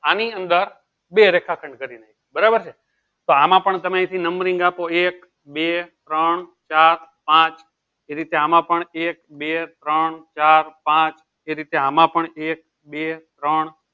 આની અંદર બે રેખાખંડ કરીદે બરાબર છે તો આમાં પણ તમેં અહીંથી numbering આપો એક બે ત્રણ ચાર પાંચ એ રીતે આમાં પણ એક બે ત્રણ ચાર પાંચ એ રીતે આમાં પણ એક બે ત્રણ